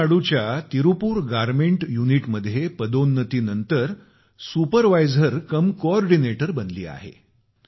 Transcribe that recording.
तमिळनाडूच्या तिरुपुरात गारमेंट युनिटमध्ये पदोन्नतीनंतर सुपरवायझरकमकोऑर्डिनेटर बनली आहे